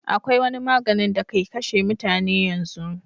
akwai wani maganin da ke kashe mutane yanzu